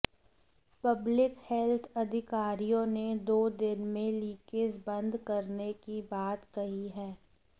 public health अधिकारियों ने दो दिन में लीकेज बंद करने की बात कही है